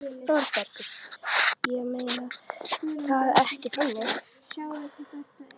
ÞÓRBERGUR: Ég meinti það ekki þannig.